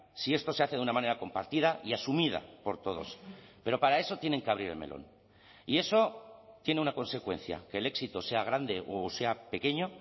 si esto se hace de una manera compartida y asumida por todos pero para eso tienen que abrir el melón y eso tiene una consecuencia que el éxito sea grande o sea pequeño